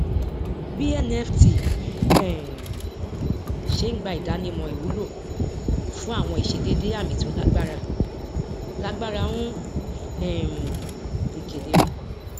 bí nft um ṣé ń gba ìdánimọ ìwúlò fún àwọn ìṣedédé àmì tí ó lágbára lágbára ń um di kédere